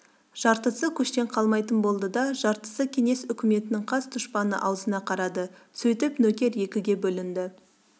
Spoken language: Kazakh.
жартысы көштен қалмайтын болды да жартысы кеңес үкіметінің қас дұшпаны аузына қарады сөйтіп нөкер екіге бөлінді